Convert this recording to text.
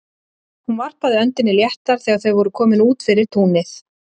Hún varpaði öndinni léttar þegar þau voru komin út fyrir túnið.